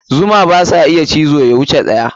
Zuma basa iya cizo ya wuce ɗaya.